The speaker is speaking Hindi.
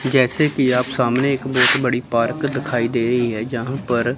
जैसे कि आप सामने एक बहुत बड़ी पार्क दिखाई दे रही है जहां पर--